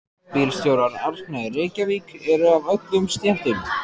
Bílstjórar Árna í Reykjavík eru af öllum stéttum.